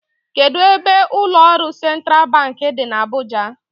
Kedụ ebe ụlọọrụ sentral bank dị n'Abuja?